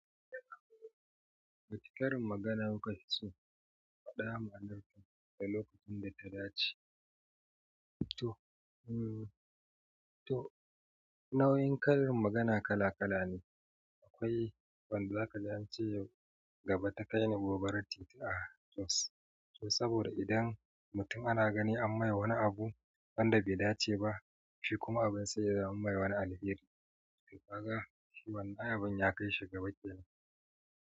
Wace karin magana kuka fi so ku fadi dma'anar ta da lokacin da ta dace? To, nau'in karin magana kala-kala ne. Akwai wanda zaka gani ace yau gaba ta kai ni gobarar titi. A jos to saboda idan mutum ana gani an mai wani abu wanda bai dace ba, shi kuma abin sai ya zama mae wani alheri. Kaga wannan abun ya kai shi gaba kenan.